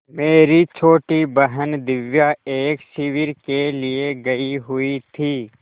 मेरी छोटी बहन दिव्या एक शिविर के लिए गयी हुई थी